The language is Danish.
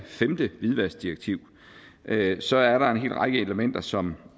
femte hvidvaskdirektiv så er der en hel række elementer som